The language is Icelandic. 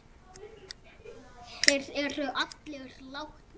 Þeir eru allir látnir.